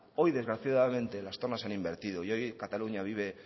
hoy desgraciadamente las tornas se han invertido y hoy cataluña vive